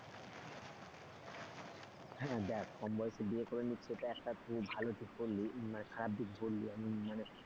হ্যাঁ দেখ কম বয়সে বিয়ে করে নিচ্ছে সেটা একটা খুব ভালো দিক বললি মানে খারাপ দিক বললি আমি মানে,